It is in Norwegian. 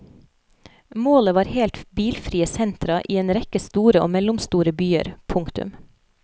Målet var helt bilfrie sentra i en rekke store og mellomstore byer. punktum